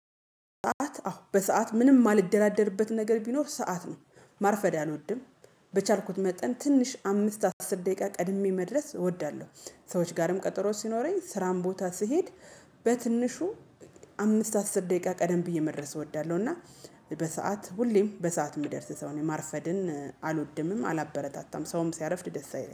ሰዓት አዎ በሰአት ምንም የማልደራደርበት ነገር ቢኖር ሰዓት ነው ማርፈዳ አልወድም። በቻልኩት መጠን ትንሽ አምስት አስር ደቂቃ ቀድሜ መድረስ እወዳለሁ። ሰዎች ጋርም ቀጠሮ ሲኖረኝ ስራም ቦታ ስሄድ። በትንሹ አምስት አስር ደቂቃ ቀደም ብዬ መድረስ እወዳለሁ። እና በሰአት ሁሌም በሰአት የምደርስ ሰው ነኝ ማርፈድን አልወድምም አላበረታታም ሰውም ሲያረፍድ ደስ አይለኝም